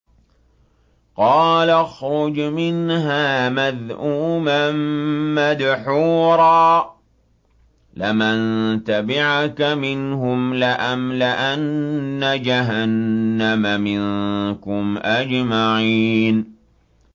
قَالَ اخْرُجْ مِنْهَا مَذْءُومًا مَّدْحُورًا ۖ لَّمَن تَبِعَكَ مِنْهُمْ لَأَمْلَأَنَّ جَهَنَّمَ مِنكُمْ أَجْمَعِينَ